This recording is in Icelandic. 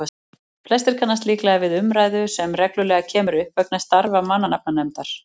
flestir kannast líklega við umræðu sem reglulega kemur upp vegna starfa mannanafnanefndar